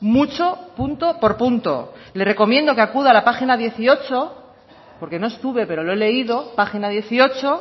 mucho punto por punto le recomiendo que acuda a la página dieciocho porque no estuve pero lo he leído página dieciocho